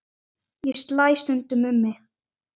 Ég slæ stundum um mig.